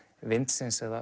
vindsins eða